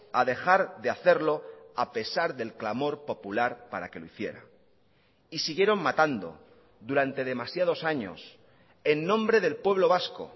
a dejar de hacerlo a pesar del clamor popular para que lo hiciera y siguieron matando durante demasiados años en nombre del pueblo vasco